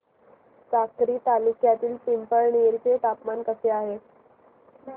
साक्री तालुक्यातील पिंपळनेर चे तापमान कसे आहे